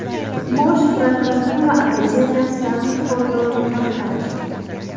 Bosh prokuratura akademiyasidan fotoreportaj.